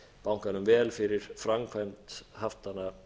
bankanum vel fyrir framkvæmd fram að